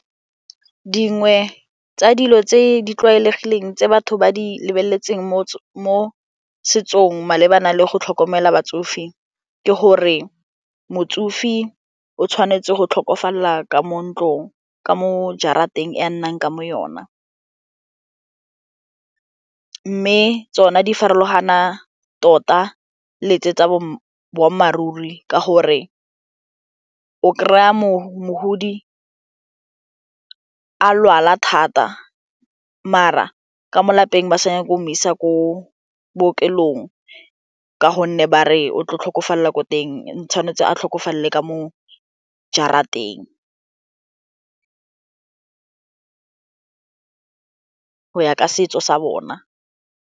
Dingwe tsa dilo tse di tlwaelegileng tse batho ba di lebeletseng mo setsong malebana le go tlhokomela batsofe ke gore motsofe o tshwanetse go tlhokofalela ka mo ntlong ka mo jarateng e a nnang ka mo yona mme tsona di farologana tota le tse tsa boammaaruri ke gore o kry-a mogodi a lwala thata mara ka mo lapeng ba sa nyake go mo isa ko bookelong ka gonne ba re o tlo tlhokofalela ko teng, tshwanetse a tlhokofalela ka mo jarateng go ya ka setso sa bona.